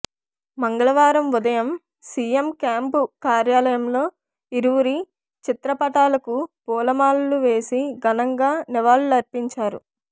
మంగళవారం ఉదయం CM camp కార్యాలయంలో ఇరువురి చిత్రపటాలకు పూలమాలలు వేసి ఘనంగా నివాళులర్పించారు